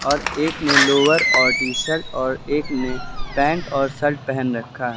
और एक ने लोवर और टी शर्ट और एक ने पैंट और शर्ट पहन रखा है।